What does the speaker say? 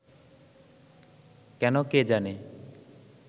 কেন কে জানে